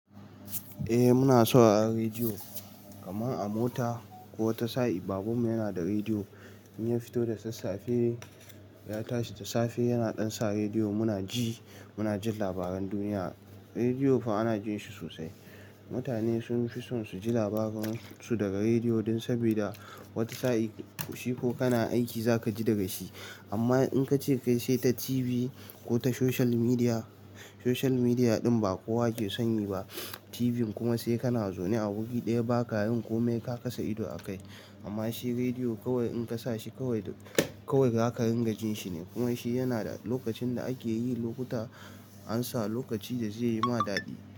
Eh muna sauraron rediyo kamar a mota ko wata sa'a baban mu yana da rediyo in ya fito da sassafe ya tashi da safe yana dansa rediyo muna ji muna jin labaran duniya. Rediyo fa ana jin shi sosai. Mutane sun fi son su ji labaran su daga rediyo dan saboda wata sa'a shi ko kana aiki za ka ji daga shi. Amma in ka ce ka yi sai ta TV ko ta social media, social media ɗin ba kowa ke sani ba. TV kuma sai kana zaune a wuri ɗaya ba kayin kome ka kasa ido a kai. Amma shi rediyo kawai in ka sa shi kawai kawai za ka ringa jin shi ne kuma shi yana da lokacin da ake yi lokuta an sa lokaci da zai yi ma daɗi.